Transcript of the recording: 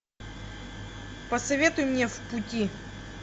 посоветуй мне в пути